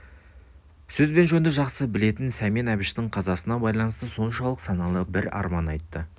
сөз бен жөнді жақсы білетін сәмен әбіштің қазасына байланысты соншалық саналы бір арман айтты